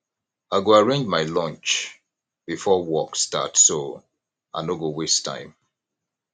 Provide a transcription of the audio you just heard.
i go arrange my lunch before work start so i no go waste time